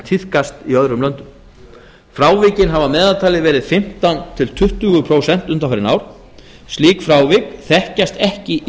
tíðkast í öðrum löndum frávikin hafa að meðaltali verið um fimmtán til tuttugu prósent undanfarin ár slík frávik þekkjast ekki í